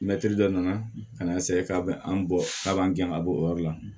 Mɛtiri dɔ nana ka na ka b'an bɔ a b'an gɛn ka bɔ o yɔrɔ la